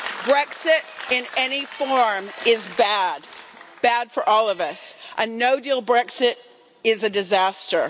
Brexit in any form is bad, bad for all of us, and a no deal Brexit is a disaster.